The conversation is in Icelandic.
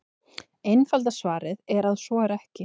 Einfalda svarið er að svo er ekki.